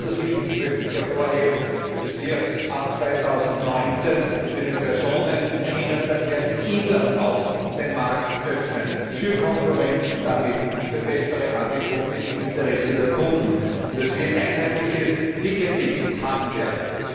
Als besonders wichtig möchte ich hervorheben, dass wir ab 2019 im Personenschienenverkehr im Inland auch den Markt öffnen für Konkurrenz und damit für bessere Angebote im Interesse der Kunden, und dass wir einheitliches Ticketing haben werden.